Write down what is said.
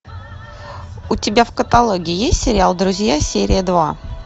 у тебя в каталоге есть сериал друзья серия два